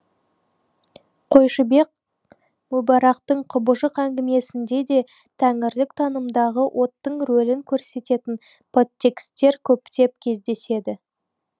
қойшыбек мүбарактың құбыжық әңгімесінде де тәңірлік танымдағы оттың рөлін көрсететін подтекстер көптеп кездеседі